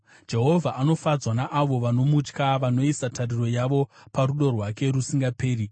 Jehovha anofadzwa naavo vanomutya, vanoisa tariro yavo parudo rwake rusingaperi.